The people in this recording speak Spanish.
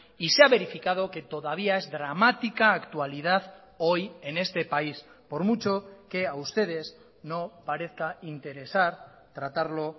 y se ha verificado que todavía es dramática actualidad hoy en este país por mucho que a ustedes no parezca interesar tratarlo